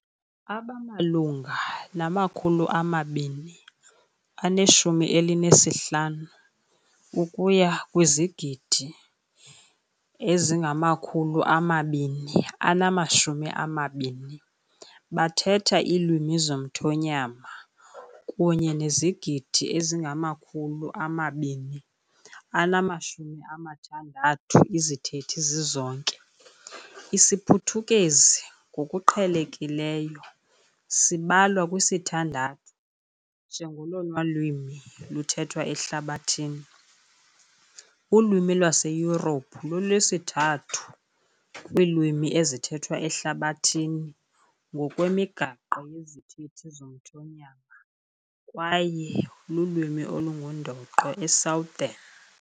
Abamalunga nama-215 ukuya kwizigidi 220 bathetha zomthonyama kunye nezigidi 260 izithethi zizonke, isiPhuthukezi ngokuqhelekileyo sibalwa kwisithandathu njengolona lwimi luthethwa ehlabathini, ulwimi yaseYurophu lolwesithathu kwiilwimi ezithethwa ehlabathini ngokwemigaqo yezithethi zomthonyama, kwaye lulwimi engundoqo eSouthern.